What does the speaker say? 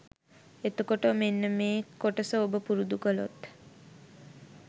එතකොට මෙන්න මේ කොටස ඔබ පුරුදු කළොත්